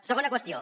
segona qüestió